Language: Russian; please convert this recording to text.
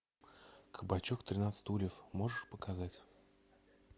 кабачок тринадцать стульев можешь показать